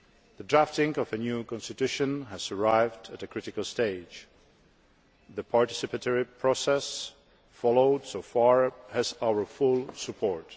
The drafting of a new constitution has arrived at a critical stage. The participatory process followed so far has our full support.